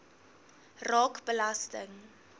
raak belasting